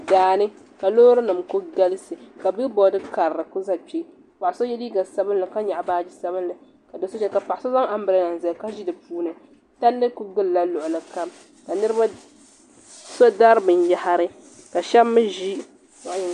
Daani ka loorinim kuli galisi bilibod karili ku za kpe paɣa so ye liiga sabinli ka nyahi baagi sabinli ka do so ʒiya ka paɣa so zaŋ ambiraada zali ka ʒi di puuni palli kuli gili la luɣuli kam so dari binyahiri.